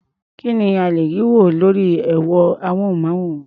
Kí ni a lè rí wò lórí ẹ̀rọ-amóhùnmáwòrán?